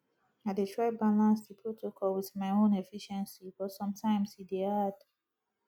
i dey try balance di protocol with my own efficiency but sometimes e dey hard